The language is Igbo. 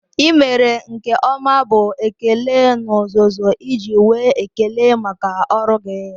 I mere nke ọma bụ ekele n'ozuzu iji nwee ekele maka ọrụ gị